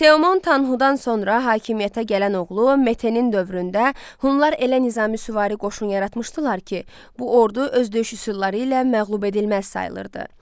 Teoman Tanxudan sonra hakimiyyətə gələn oğlu Metenin dövründə Hunlar elə nizami süvari qoşunu yaratmışdılar ki, bu ordu öz döyüş üsulları ilə məğlub edilməz sayılırdı.